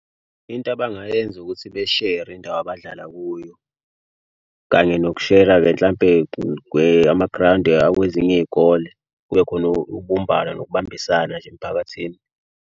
Into abangayenza ukuthi beshere indawo abadlala kuyo, kanye nokushera-ke mhlampe amagrawundi akwezinye iy'kole kube khona ubumbano nokubambisana nje emphakathini.